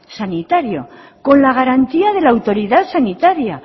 sanitario con la garantía de la autoridad sanitaria